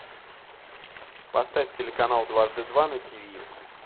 поставь телеканал дважды два на тв